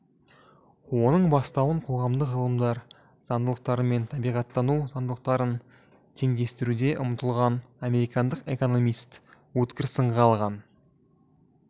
оның бастауын қоғамдық ғылымдар заңдылықтары мен табиғаттану заңдылықтарын теңдестіруге ұмтылған американдық экономист өткір сынға алған